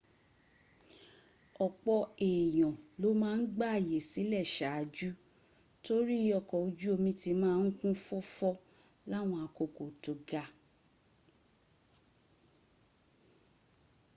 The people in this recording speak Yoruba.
ọ̀pọ̀ èèyàn ló ma ń gbààyè sílẹ̀ saájú torí ọkọ̀ ojú omi ti ma ń kún fọ́fọ́ láwọn àkókò tó ga